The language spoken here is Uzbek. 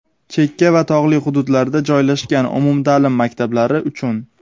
chekka va tog‘li hududlarda joylashgan umumta’lim maktablari uchun).